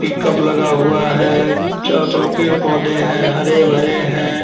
Pickup लगा हुआ है। चारों तरफ पेड़-पौधे हैं हरे भरे हैं।